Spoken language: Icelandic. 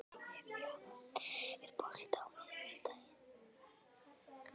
Evfemía, er bolti á miðvikudaginn?